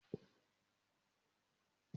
Mo máa lọ gba ẹrù mi ní ìbùdókọ̀ ní ọlá.